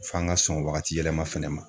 F'an ka sɔn wagati yɛlɛma fɛnɛ ma